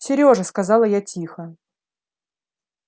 серёжа сказала я тихо